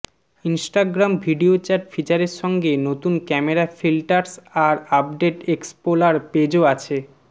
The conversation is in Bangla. ইন্সটাগ্রাম ভিডিও চ্যাট ফিচারের সঙ্গে নতুন ক্যামেরা ফিল্টার্স আর আপডেট এক্সপোলার পেজও আছে